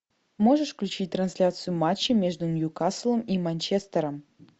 можешь включить трансляцию матча между ньюкаслом и манчестером